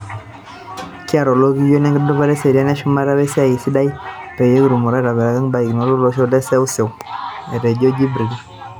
"Kiata olokiyo lekintudupaa eseriani eshumata wesiai sidai peyie kitumoki aatabaiki barakinoto olosho we neseuseu ," etejo Jibril.